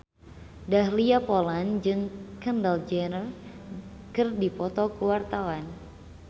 Dahlia Poland jeung Kendall Jenner keur dipoto ku wartawan